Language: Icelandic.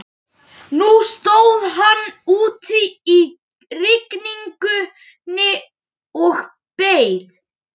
Nú stóð hann úti í rigningunni og beið.